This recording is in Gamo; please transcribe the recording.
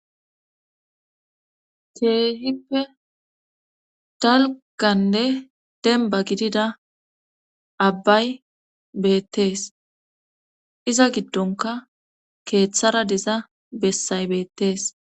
Keehippe dalganne denba gidida abbay beettees iza giddonka keeththara deza bessay beettees.